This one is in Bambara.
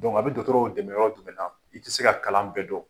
A bɛ dɔkɔtɔrɔw dɛmɛ yɔrɔ jumɛn na, i tɛ se ka kalan bɛɛ dɔn.